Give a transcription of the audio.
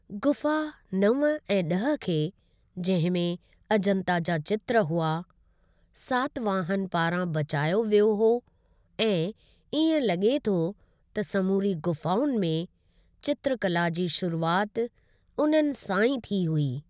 ग़ुफा नव ऐं ॾह खे, जहिं में अजंता जा चित्र हुआ, सातवाहन पारां बचायो वियो हुओ ऐं इएं लॻे थो त समूरी गुफाउनि में चित्रकला जी शुरुआति उननि सां ई थी हुई।